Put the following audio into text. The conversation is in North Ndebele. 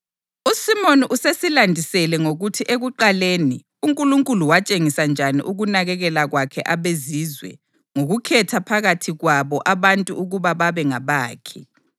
USimoni usesilandisele ngokuthi ekuqaleni uNkulunkulu watshengisa njani ukunakekela kwakhe abeZizwe ngokukhetha phakathi kwabo abantu ukuba babe ngabakhe.